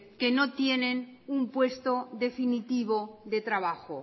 que no tienen un puesto definitivo de trabajo